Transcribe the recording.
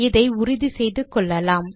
இதை உறுதி செய்து கொள்ளலாம்